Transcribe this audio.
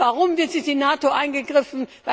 Und warum wird durch die NATO eingegriffen?